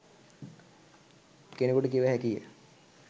කෙනකුට කිව හැකිය.